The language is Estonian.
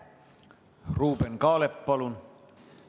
Ruuben Kaalep, palun!